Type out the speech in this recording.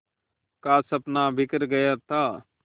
का सपना बिखर गया था